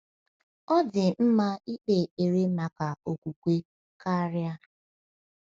Ọ dị mma ịkpe ekpere maka okwukwe karịa.